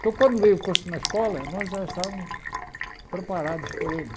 Então, quando veio o curso na escola, nós já estávamos preparados por ele.